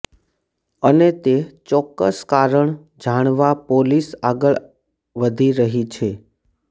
અને તે ચોક્કસ કારણ જાણવા પોલીસ આગળ વધી રહી છે